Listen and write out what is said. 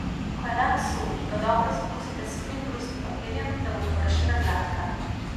Ko je lak suh, ga dobro zbrusite s finim brusnim papirjem, da bo površina gladka.